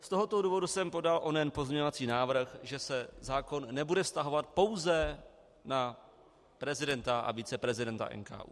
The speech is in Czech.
Z tohoto důvodu jsem podal onen pozměňovací návrh, že se zákon nebude vztahovat pouze na prezidenta a viceprezidenta NKÚ.